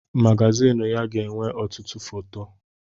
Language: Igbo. Magazịn ya ga-enwe ọtụtụ foto.